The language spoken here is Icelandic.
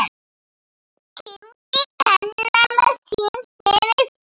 Kynnti kennara sinn fyrir þeim.